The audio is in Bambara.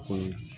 Ko